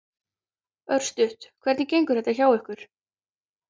Örstutt, hvernig gengur þetta hjá ykkur?